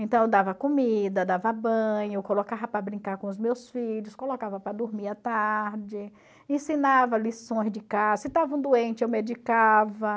Então eu dava comida, dava banho, colocava para brincar com os meus filhos, colocava para dormir à tarde, ensinava lições de casa, se estava um doente eu medicava.